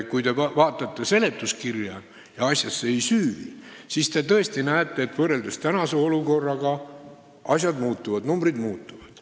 Kui te vaatate seletuskirja ja asjasse ei süüvi, siis te tõesti näete, et võrreldes praeguse olukorraga asjad muutuvad, numbrid muutuvad.